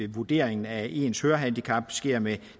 vurderingen af ens hørehandicap sker med